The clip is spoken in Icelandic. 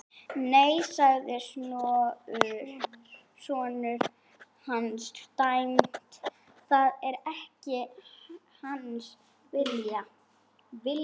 Nei, sagði sonur hans dræmt,-það er ekki hans vilji.